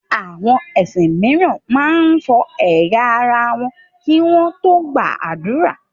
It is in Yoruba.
Àwọn ẹ̀sìn míràn man fọ ẹ̀yà ara wọn kì wọn tó gbà ádùrá